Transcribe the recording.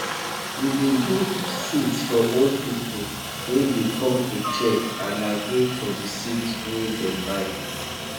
we bin give seat for old people wey bin come to check and agree for de seed wey dem buy